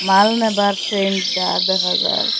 মাল নেবার ট্রেন যার দেখা যার--